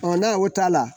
n'a o t'a la